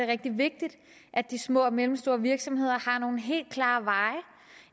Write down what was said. rigtig vigtigt at de små og mellemstore virksomheder har nogle helt klare veje